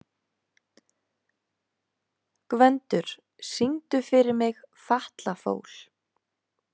Gvendur, syngdu fyrir mig „Fatlafól“.